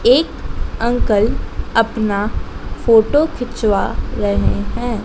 एक अंकल अपना फोटो खिंचवा रहे हैं।